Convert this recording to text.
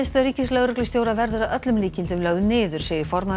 ríkislögreglustjóra verður að öllum líkindum lögð niður segir formaður